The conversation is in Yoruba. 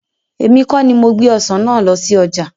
Èmi kọ ní mo gbé Ọ̀sán náà lọ sí ọjà.